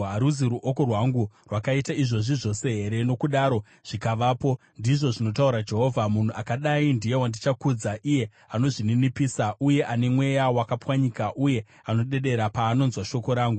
Haruzi ruoko rwangu rwakaita izvozvi zvose here, nokudaro zvikavapo?” ndizvo zvinotaura Jehovha. “Munhu akadai ndiye wandichakudza: iye anozvininipisa uye ane mweya wakapwanyika, uye anodedera paanonzwa shoko rangu.